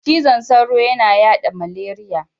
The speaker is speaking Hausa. Cizon sauro yana yaɗa zmaleriya.